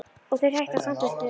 Og þeir hætta samstundis að róa.